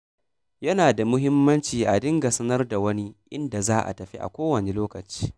Yana da muhimmanci a dinga sanar da wani inda za a tafi a kowane lokaci.